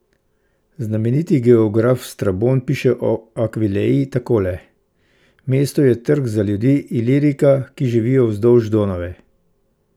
Znameniti geograf Strabon piše o Akvileji takole: 'Mesto je trg za ljudi Ilirika, ki živijo vzdolž Donave.